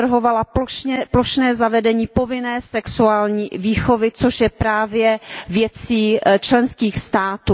navrhovala plošné zavedení povinné sexuální výchovy, což je právě věcí členských států.